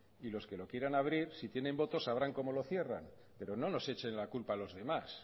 y los que lo quieran abrir si tienen votos sabrán como lo cierran pero no nos echen la culpa a los demás